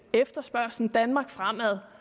efterspørgslen i danmark fremad